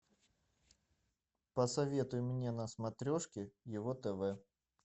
посоветуй мне на смотрешке его тв